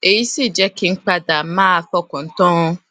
èyí sì jé kí n padà máa fọkàn tán an